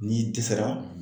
N'i dɛsɛra